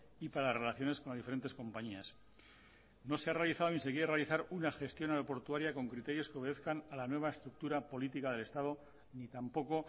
y para relaciones con las diferentes compañías no se ha realizado ni se quiere realizar una gestión aeroportuaria con criterios que obedezcan a la nueva estructura política del estado ni tampoco